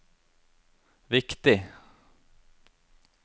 viktig